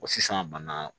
Wa sisan bana